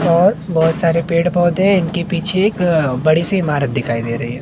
और बहोत सारे पेड़ पौधे हैं इनके पीछे एक बड़ी सी इमारत दिखाई दे रही है।